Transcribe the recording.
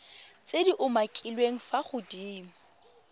tse di umakiliweng fa godimo